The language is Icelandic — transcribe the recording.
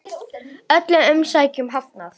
Öllum umsækjendum hafnað